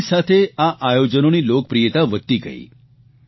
સમયની સાથે આ આયોજનોની લોકપ્રિયતા વધતી ગઇ